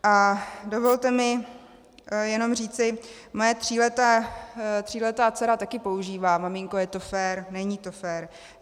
A dovolte mi jenom říci, moje tříletá dcera také používá: maminko, je to fér, není to fér.